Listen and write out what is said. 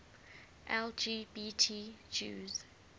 lgbt jews